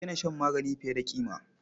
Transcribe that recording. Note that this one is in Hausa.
Ku daina shan magani fiye da ƙima.